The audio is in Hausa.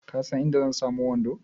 Ka san inda zan samu wando?